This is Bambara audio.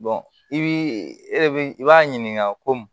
i bi e de i b'a ɲininka ko